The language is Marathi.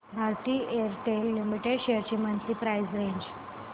भारती एअरटेल लिमिटेड शेअर्स ची मंथली प्राइस रेंज